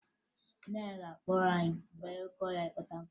Nne m ga-akpọrọ anyị baa n'oke ọhịa ịkpata nkụ